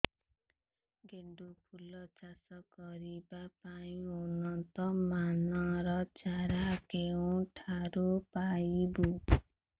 ଗେଣ୍ଡୁ ଫୁଲ ଚାଷ କରିବା ପାଇଁ ଉନ୍ନତ ମାନର ଚାରା କେଉଁଠାରୁ ପାଇବୁ